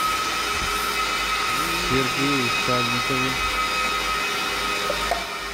сергее сальникове